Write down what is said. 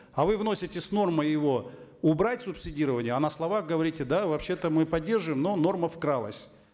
а вы вносите с нормой его убрать субсидирование а на словах говорите да вообще то мы поддерживаем но норма вкралась